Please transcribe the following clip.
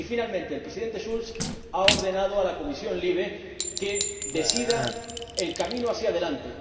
Y, finalmente, el Presidente Schulz ha ordenado a la Comisión LIBE que decida el camino hacia delante.